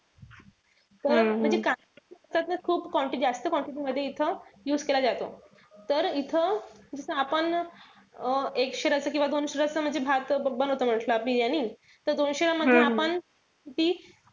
त खूप जास्त जास्त quantity मध्ये इथे use केला जातो. तर इथं इथं आपण अं एक शेर असत किंवा दोन शेर असत, म्हणजे भात बनवतो म्हंटल बिर्याणी. त दोनशे gram मध्ये आपण तीन,